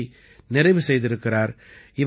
மேற்படிப்பை நிறைவு செய்திருக்கிறார்